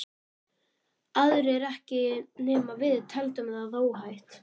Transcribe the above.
Aðrir ekki ekki nema við teldum það óhætt.